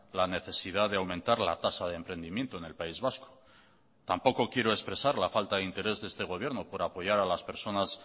la necesidad de aumentar la tasa de emprendimiento en el país vasco tampoco quiero expresar la falta de interés de este gobierno por apoyar a las personas